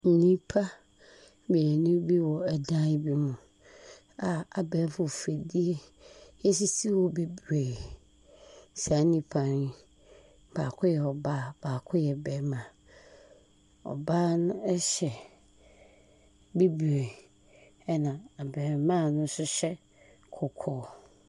Nnipa mmienu bi wɔ dan bi mu a abɛɛfi mfidie sisi hɔ bebree. Saa nnipa yi baako yɛ ɔbaa, baako yɛ barima. Ɔbaa no hyɛ bibire, ɛna abarima no nso hyɛ kɔkɔɔ.